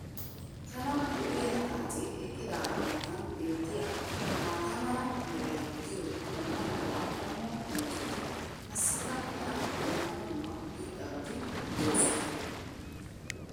pala lo'iya xaacee eqqidaagaa matan beetiya maata mala meray diyo dumma dumma qommo dozzati qassikka hara dumma dumma irxxabati doosona.